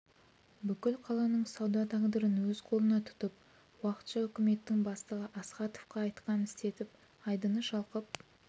бүкіл қаланың сауда тағдырын өз қолына тұтып уақытша үкіметтің бастығы астаховқа айтқанын істетіп айдыны шалқып